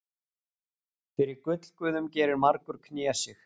Fyrir gullguðum gerir margur knésig.